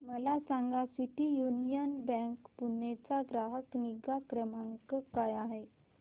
मला सांगा city union bank Pune चा ग्राहक निगा क्रमांक काय आहे